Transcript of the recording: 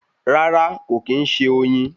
Rárá kò kín ṣe oyin